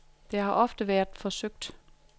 Det har ofte været forsøgt.